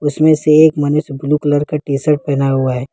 इसमें से एक मनुष्य ब्ल्यू कलर का टीशर्ट पहना हुआ है।